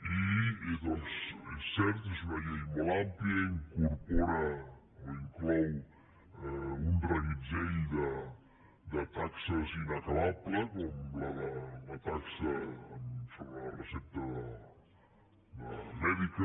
i doncs és cert és una llei molt àmplia incorpora o inclou un reguitzell de taxes inacabable com la taxa sobre la recepta mèdica